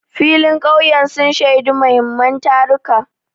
Filin ƙauyen sun shaidi muhimman taruka.